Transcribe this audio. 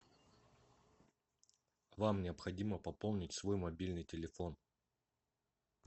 вам необходимо пополнить свой мобильный телефон